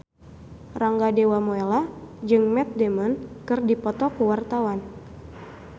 Rangga Dewamoela jeung Matt Damon keur dipoto ku wartawan